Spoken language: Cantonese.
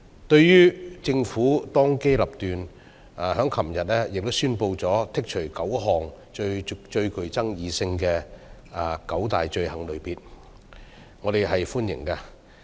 對於政府當機立斷，昨天宣布剔除9項最具爭議性的罪類，我們表示歡迎。